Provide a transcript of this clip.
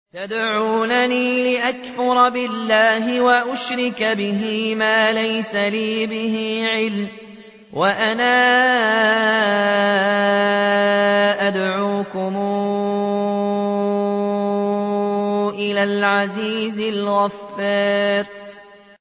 تَدْعُونَنِي لِأَكْفُرَ بِاللَّهِ وَأُشْرِكَ بِهِ مَا لَيْسَ لِي بِهِ عِلْمٌ وَأَنَا أَدْعُوكُمْ إِلَى الْعَزِيزِ الْغَفَّارِ